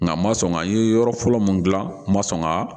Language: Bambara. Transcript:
Nka n ma sɔn ka ye yɔrɔ fɔlɔ mun dilan n ma sɔn ka